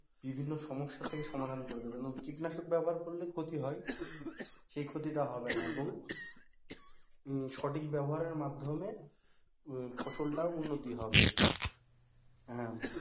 বিভিন্ন সমস্যা থেকে সমাধান করে দেবে। যেমন কীটনাশক ব্যবহার করলে ক্ষতি হয় সেই ক্ষতি টা হবে না এবং সঠিক ব্যবহারের মাধ্যমে ফসলটাও উন্নতি হবে হ্যাঁ,